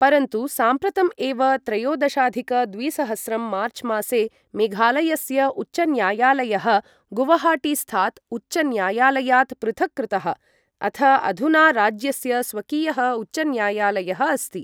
परन्तु साम्प्रतम् एव त्रयोदशाधिक द्विसहस्रं मार्चमासे मेघालयस्य उच्चन्यायालयः गुवाहाटीस्थात् उच्चन्यायालयात् पृथक् कृतः, अथ अधुना राज्यस्य स्वकीयः उच्चन्यायालयः अस्ति।